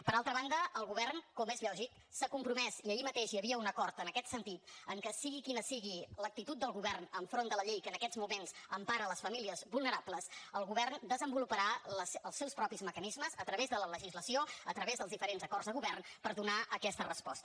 per altra banda el govern com és lògic s’ha compromès i ahir mateix hi havia un acord en aquest sentit en el fet que sigui quina sigui l’actitud del govern enfront de la llei que en aquest moments empara les famílies vulnerables el govern desenvoluparà els seus propis mecanismes a través de la legislació a través dels diferents acords de govern per donar aquesta resposta